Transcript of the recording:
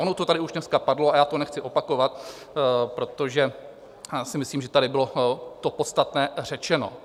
Ono to už tady dneska padlo a já to nechci opakovat, protože si myslím, že tady bylo to podstatné řečeno.